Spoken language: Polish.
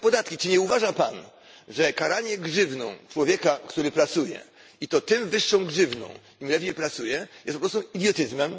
Czy nie uważa Pan, że karanie grzywną człowieka, który pracuje i to tym wyższą grzywną, im lepiej pracuje jest po prostu idiotyzmem?